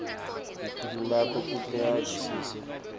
nekwehlwaya kute avisise